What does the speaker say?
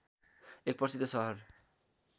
एक प्रसिद्ध सहर